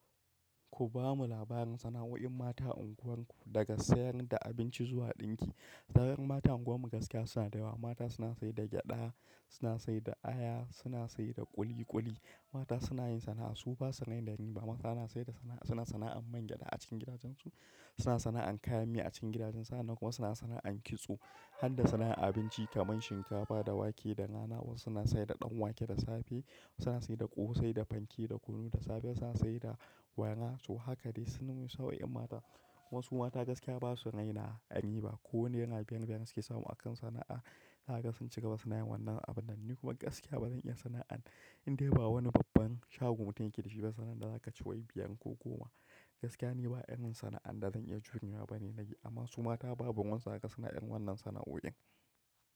Ku ba mu labarin sana'o'in mata unguwarku, daga sayad da abinci zuwa ɗinki. Sana'oin mata a unguwarmu gaskiya suna da yawa. Mata suna sayar da gyaɗa, suna sayar da aya, suna sayar da ƙuliƙuli. Mata suna yin sana'a, su ba sa rena rii ba. Mata suna sayar da sana'a, suna sana'an mangyaɗa a cikin gidajensu, suna sana'an kayan mi a cikin gidajensu. Hannan kuma suna sana'an kitso, har da sana'ar abinci kamar shinkafa da wake da nama. Wasu suna sayar da ɗan wake da safe, wasu suna sayar da ƙosai da fanke da kunu da safe. Wasu suna sai da waina. To haka dai sana'o'in wasu sana'o'in mata. Wasu mata gaskiya ba su raina riba ba. Ko Naira biyar-biyar ne suke samu akan sana'a. Za kaga sun ci gaba ba sunayi wannan abun nan ni kuma gaskiya ba zan iya sana'an in dai ba wani babban shagon mutum yake dashi ba, sana'an da za ka ci wai biyan ko goma. Gaskiya ni ba irin sana'an da zan iya jurewa bane na yi, amma su mata babu ruwansu zaka ga suna irin wannan sana'o'in.